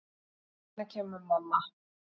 Hvenær kemur mamma?